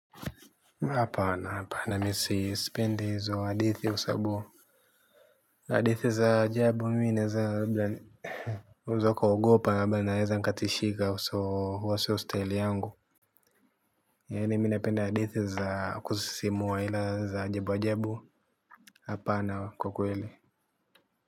Hapa na hapa na mimi sipendi hizo hadithi kwa sababu hadithi za ajabu mimi naweza kuogopa ama naweza nikatishika so huo si staili yangu ya mimi napenda hadithi za kusisimua ila za ajabu ajabu hapana kwa kweli.